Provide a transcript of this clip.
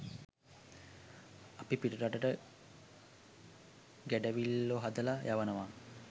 අපි පිටරටට ගැඩවිල්ලො හදලා යවනවා